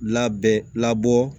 Labɛn labɔ